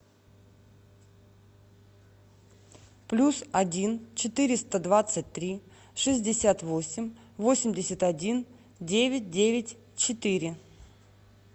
плюс один четыреста двадцать три шестьдесят восемь восемьдесят один девять девять четыре